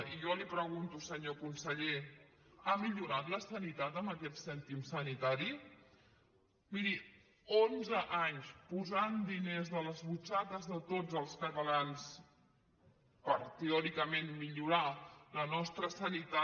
i jo li pregunto senyor conseller ha millorat la sanitat amb aquest cèntim sanitari miri onze anys posant diners de les butxaques de tots els catalans per teòricament millorar la nostra sanitat